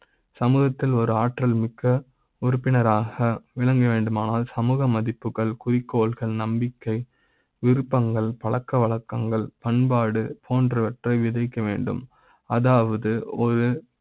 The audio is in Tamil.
சமூக த்தில் ஒரு ஆற்றல் மிக்க உறுப்பினராக விளங்க வேண்டுமானால் சமூக மதிப்புகள், குறிக்கோள்கள், நம்பிக்கை விருப்ப ங்கள், பழக்க வழக்க ங்கள், பண்பாடு போன்றவற்றை விதிக்க வேண்டும் அதாவது ஒரு